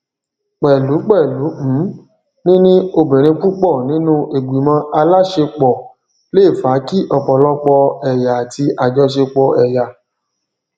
pẹlú pẹlú um níní obìnrin púpọ nínú ìgbìmọ aláṣepọ le fa kí ọpọlọpọ ẹyà àti àjọsepọ ẹyà